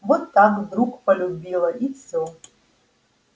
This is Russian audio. вот так вдруг полюбила и всё